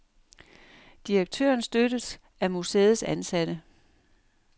Direktøren støttes af museets ansatte.